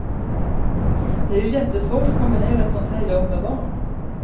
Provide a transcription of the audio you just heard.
Det är ju jättesvårt att kombinera ett sådant här jobb med barn.